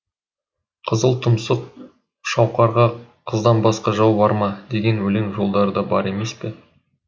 қызыл тұмсық шауқарға қыздан басқа жау бар ма деген өлең жолдары да бар емес пе